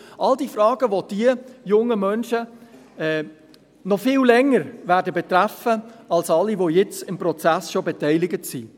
All diese Fragen werden die jungen Menschen noch viel länger betreffen als alle, die bereits jetzt im Prozess beteiligt sind.